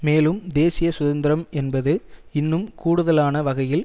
மேலும் தேசிய சுதந்திரம் என்பது இன்னும் கூடுதலான வகையில்